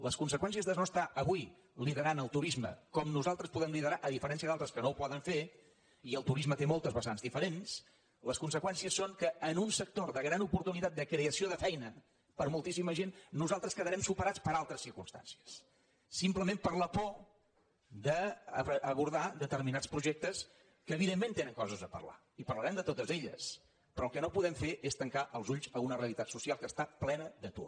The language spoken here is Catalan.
les conseqüències de no estar avui liderant el turisme com nosaltres podem li·derar a diferència d’altres que no ho poden fer i el tu·risme té moltes vessants diferents les conseqüències són que en un sector de gran oportunitat de creació de feina per a moltíssima gent nosaltres quedarem supe·rats per altres circumstàncies simplement per la por d’abordar determinats projectes que evidentment que tenen coses a parlar i parlarem de totes elles però el que no podem fer és tancar els ulls a una realitat soci·al que està plena d’atur